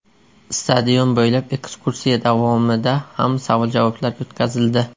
Stadion bo‘ylab ekskursiya davomida ham savol-javoblar o‘tkazildi.